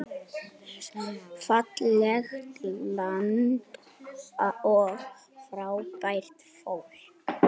Fallegt land og frábært fólk.